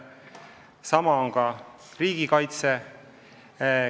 Sama on ka riigikaitsega.